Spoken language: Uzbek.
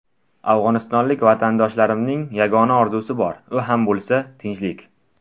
Afg‘onistonlik vatandoshlarimning yagona orzusi bor, u ham bo‘lsa tinchlik.